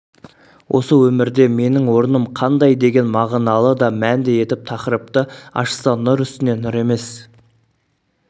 осы өмірде менің орным қандай деген мағыналы да мәнді етіп тақырыпты ашса нұр үстіне нұр емес